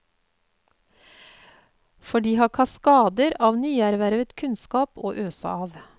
For de har kaskader av nyervervet kunnskap å øse av.